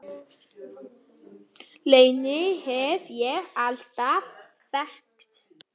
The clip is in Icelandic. Reyni hef ég alltaf þekkt.